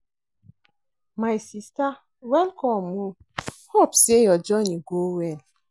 My sista welcome o, hope sey your journey go well.